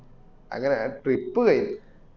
അങ്ങന ആ trip കഴിഞ്